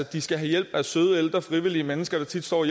de skal have hjælp af søde ældre frivillige mennesker der tit står og